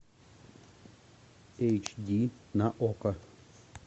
эйч ди на окко